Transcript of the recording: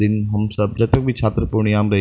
दिन हम सब जब तक भी छात्र पूर्णिया में रही --